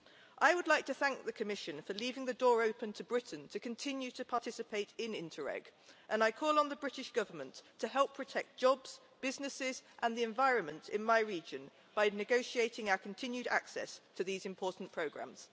I would like to thank the Commission for leaving the door open to Britain to continue to participate in Interreg, and I call on the British Government to help protect jobs, businesses and the environment in my region by negotiating our continued access to these important programmes.